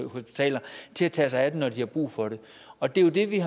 hospitaler til at tage sig af dem når de har brug for det og det er jo det vi